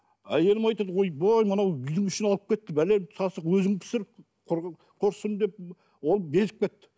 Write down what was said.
әйелім айтады ойбай мынау үйдің ішін алып кетті бәлен сасық өзің пісір құрысын деп ол безіп кетті